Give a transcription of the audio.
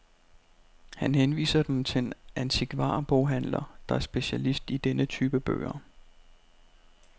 Han henviser dem til en antikvarboghandler, der er specialist i denne type bøger.